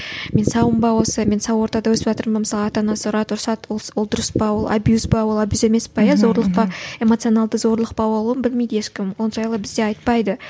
мен саумын ба осы мен сау ортада өсіватырмын ба мысалы ата анасы ұрады ұрсады ол дұрыс па ол абьюз ба ол абьюз емес пе иә зорлық па эмоцияналды зорлық па ол оны білмейді ешкім ол жайлы бізде айтпайды